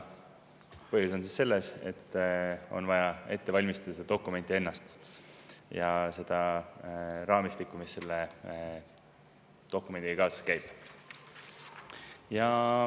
Põhjus on selles, et on vaja ette valmistada seda dokumenti ennast ja seda raamistikku, mis selle dokumendiga kaasas käib.